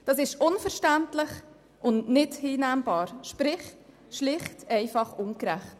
Das ist unverständlich und nicht hinnehmbar, sprich es ist einfach ungerecht.